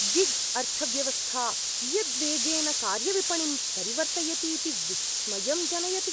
Gig अर्थव्यवस्था कियद्वेगेन कार्यविपणिं परिवर्त्तयतीति विस्मयं जनयति।